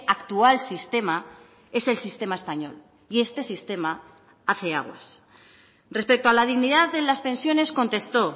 actual sistema es el sistema español y este sistema hace aguas respecto a la dignidad de las pensiones contestó